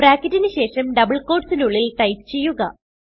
ബ്രാക്കറ്റിന് ശേഷം ഡബിൾ quotesന് ഉള്ളിൽ ടൈപ്പ് ചെയ്യുക